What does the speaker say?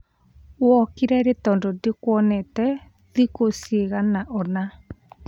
wokire rĩ tondũ ndikuonete thikũ ciagana ona?